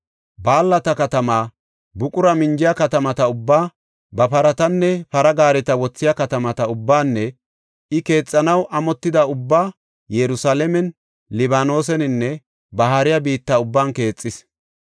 Balata katamaa, buqura minjiya katamata ubbaa, ba paratanne para gaareta wothiya katamata ubbaanne I keexanaw amotida ubbaa Yerusalaamen, Libaanoseninne ba haariya biitta ubban keexis.